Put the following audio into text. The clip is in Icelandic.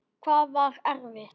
Hvað var erfitt?